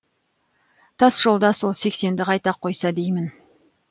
тасжолда сол сексенді қайта қойса деймін